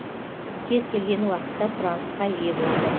кез келген уақытта сұранысқа ие болды